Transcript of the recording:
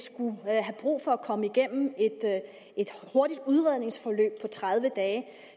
skulle have brug for at komme igennem et hurtigt udredningsforløb på tredive dage